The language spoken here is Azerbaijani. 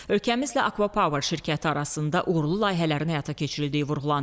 Ölkəmizlə Akva Power şirkəti arasında uğurlu layihələrin həyata keçirildiyi vurğulandı.